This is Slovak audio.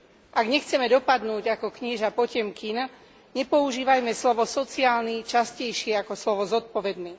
Ak nechceme dopadnúť ako knieža Potemkin, nepoužívajme slovo sociálny častejšie ako slovo zodpovedný.